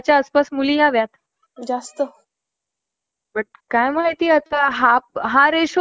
काही इतिहासकारांनुसार ग्रंथातील घटना इसवी सन दोन हजार पाचशेच्या सुमारास घडल्या. महाभारतात उल्लेख झालेल्या ग्रहणादी